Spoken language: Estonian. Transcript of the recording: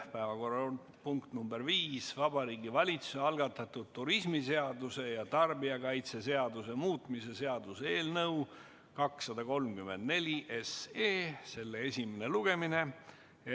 Päevakorrapunkt nr 5: Vabariigi Valitsuse algatatud turismiseaduse ja tarbijakaitseseaduse muutmise seaduse eelnõu 234 esimene lugemine.